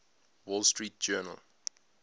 wall street journal